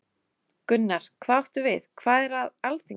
Gunnar: Hvað áttu við, hvað er að Alþingi?